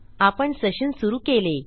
आपण सेशन सुरू केले